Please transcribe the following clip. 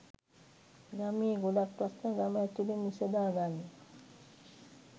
ගමේ ගොඩක් ප්‍රශ්ණ ගම ඇතුලෙම විසඳාගන්න